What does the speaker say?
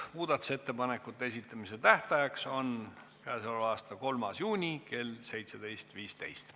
Muudatusettepanekute esitamise tähtaeg on 3. juuni kell 17.15.